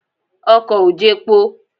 Ọkọ̀ ò jepo.